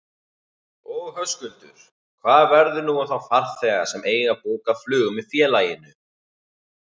Og Höskuldur, hvað verður nú um þá farþega sem eiga bókað flug með félaginu?